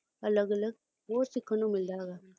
ਅਲਗ ਅਲਗ ਹੋਰ ਸਿੱਖਣ ਨੂੰ ਮਿਲਦਾ ਹੈ